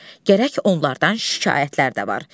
Gərək onlardan şikayətlər də var.